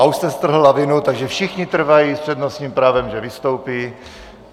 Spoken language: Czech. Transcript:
A už jste strhl lavinu, takže všichni trvají s přednostním právem, že vystoupí.